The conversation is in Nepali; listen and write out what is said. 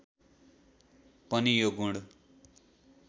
पनि यो गुण